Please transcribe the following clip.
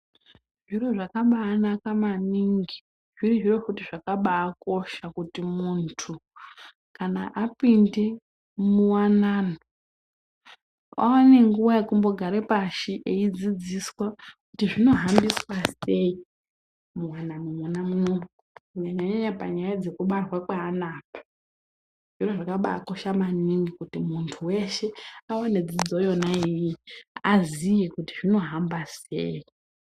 Zviro zvakabaanaka maningi zviri zviro zvakabaakosha kuti muntu kana apinde muwanano awone nguwa yekumbogare pashi eidzizdiswa kuti zvinohambiswa sei muwanano mwona muno kunyanya nyaya yekubare ana apa zviro zvakabakosha maningi kuti muntu weshe aone dzidzo yonaiyoyo aziye kuti zvinohamba sei.